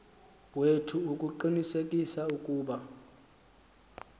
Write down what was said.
wethu ukuqinisekisa ukuba